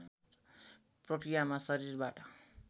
प्रक्रियामा शरीरबाट